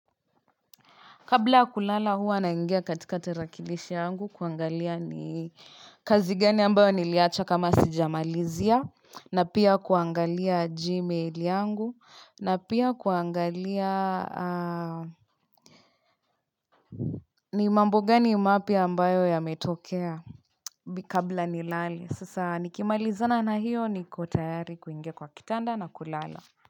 Kabla ya kulala huwa naingia katika tarakilishi yangu kuangalia ni kazi gani ambayo niliacha kama sijamalizia na pia kuangalia Gmail yangu na pia kuangalia ni mambo gani mapya ambayo yametokea kabla nilale sasa nikimalizana na hiyo niko tayari kuingia kwa kitanda na kulala.